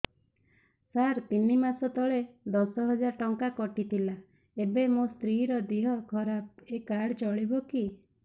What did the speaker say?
ସାର ତିନି ମାସ ତଳେ ଦଶ ହଜାର ଟଙ୍କା କଟି ଥିଲା ଏବେ ମୋ ସ୍ତ୍ରୀ ର ଦିହ ଖରାପ ଏ କାର୍ଡ ଚଳିବକି